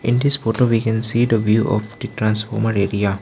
in this photo we can see the view of the transformer area.